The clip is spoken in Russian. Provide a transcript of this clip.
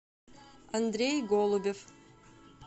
андрей голубев